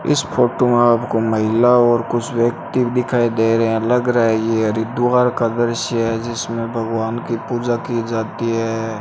इस फोटो मे आपको महिला और कुछ व्यक्ति दिखाई दे रहे हैं लग रहा है ये हरिद्वार का दृश्य है जिसमें भगवान की पूजा की जाती है।